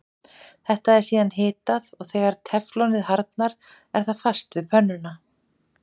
Þetta er síðan hitað og þegar teflonið harðnar er það fast við pönnuna.